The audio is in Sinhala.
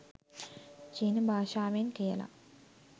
චීන භාෂාවෙන් කියලා.